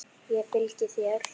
Ég fylgi þér!